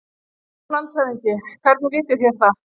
LANDSHÖFÐINGI: Hvernig vitið þér það?